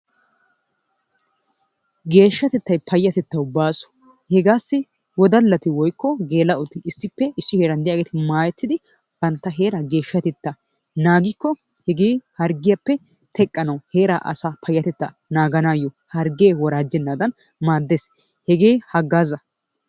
Geeshshatettay payatettawu baaso hegaasi wodallati woykko geela'otti issippe issi heeran de'iyaagetti maayettid bantta heeraa geeshshatettaa naagikko i harggiyaappe teqqanawu heeraa asaa payatettaa naaganaayoo harggee woraajjennaadan maaddees. Hegee hagaaza.